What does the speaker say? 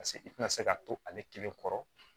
Paseke i tɛna se k'a to ale kelen kɔrɔ